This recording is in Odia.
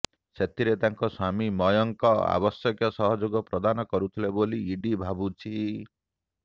ସେଥିରେ ତାଙ୍କୁ ସ୍ୱାମୀ ମୟଙ୍କ ଆବଶ୍ୟକ ସହଯୋଗ ପ୍ରଦାନ କରୁଥିଲେ ବୋଲି ଇଡି ଭାବୁଛି